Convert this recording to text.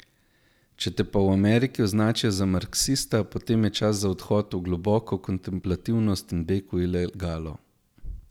Če te pa v Ameriki označijo za marksista, potem je čas za odhod v globoko kontemplativnost in beg v ilegalo.